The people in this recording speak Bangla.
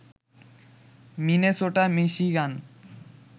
Minnesota, Michigan